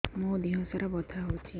ମୋ ଦିହସାରା ବଥା ହଉଚି